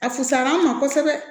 A fusar'an ma kosɛbɛ